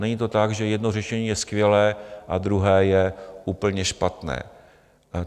Není to tak, že jedno řešení je skvělé a druhé je úplně špatné.